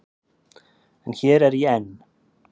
En hér er ég enn.